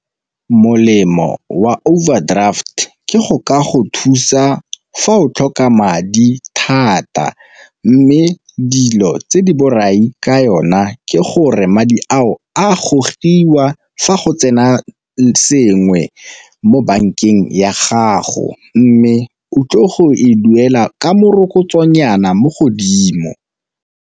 Molemo wa overdraft ke go ka go thusa fa o tlhoka madi thata, mme dilo tse di borai ka yona ke gore madi ao a gogiwa fa go tsena sengwe mo bankeng ya gago, mme o tlo go e duela ka morokotso nyana mo godimo.